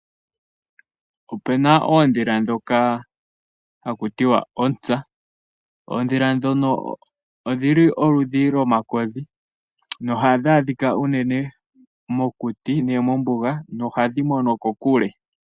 Ope na oondhila ndhoka haku tiwa ontsa, oondhila ndhono odh ili olundhi lomakodhi, nohandhi adhika unene mokuti nenge mombuga nohandhi mono kokule.